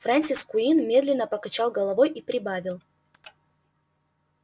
фрэнсис куинн медленно покачал головой и прибавил